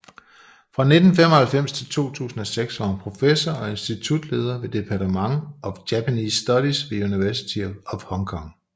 Fra 1995 til 2006 var hun professor og institutleder ved Department of Japanese Studies ved University of Hong Kong